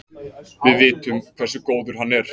Við vitum hversu góður hann er.